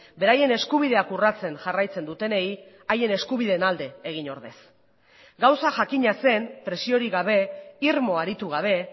beraien eskubideak urratzen jarraitzen dutenei haien eskubideen alde egin ordez gauza jakina zen presiorik gabe irmo aritu gabe